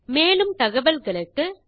மேலும் தகவல்களுக்கு தொடர்பு கொள்க